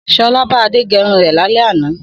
Sọlá bá Adé gẹrun rẹ̀ lálẹ́ àná.